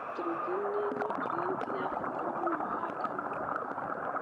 Naitrogeni niĩ niutrienti ya bata mũno ha ngano gũkũra.